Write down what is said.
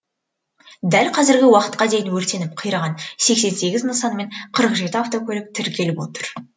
дәл қазіргі уақытқа дейін өртеніп қираған сексен сеігз нысан мен қырық жеті автокөлік тіркеліп отыр